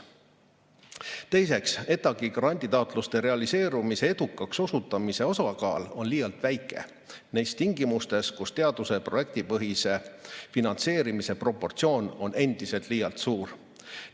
Teiseks, ETAg-i granditaotluste realiseerumise, edukaks osutumise osakaal on liialt väike tingimustes, kus teaduse projektipõhise finantseerimise proportsioon on endiselt liialt suur.